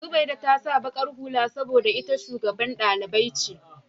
Zubaida ta sa baƙar hula saboda ita shugaban dalibai ce.